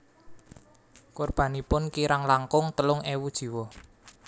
Korbanipun kirang langkung telung ewu jiwa